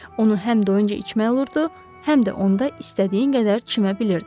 Onu həm doyunca içmək olurdu, həm də onda istədiyin qədər çimə bilirdin.